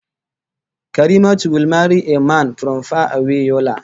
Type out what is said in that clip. Karimatu will marry a man from far away Yola